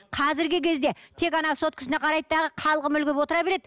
қазіргі кезде тек ана соткасына қарайды дағы қалғып мүлгіп отыра береді